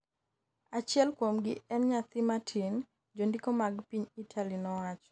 Achiel kuomgi en nyathi matin, jondiko mag piny Italy nowacho.